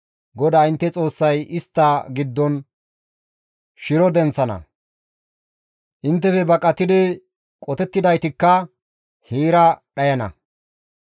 GODAA intte Xoossay istta giddon shiro denththana; inttefe baqatidi qotettidaytikka heera dhayana.